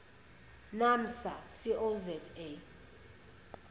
naamsa co za